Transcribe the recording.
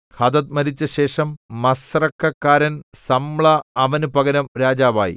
Hadad മരിച്ചശേഷം മസ്രേക്കക്കാരൻ Samlah അവനു പകരം രാജാവായി